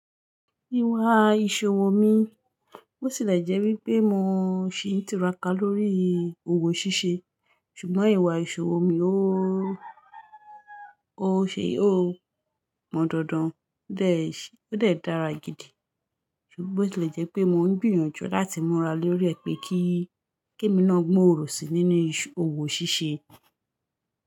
Ìwà ìṣòwò mi, bó tì le jẹ́ wípé mò ń ṣi n ìtiraka lórí òwò ṣíṣe, ṣùgbọ́n ìwà ìṣòwò mi ó, ó ṣe ó mọ́ dandan, ó dẹ, ó dẹ dàra gidi. Ṣùgbọ́n bó ti lẹ jẹ́ pé mò ń gbìyànjú láti múra lórí rẹ̀ pé kí, kí emi náà gbòòrò sí nínú òwò ṣíṣe.